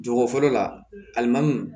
Jogo fɔlɔ la alimandu